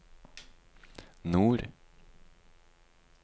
nord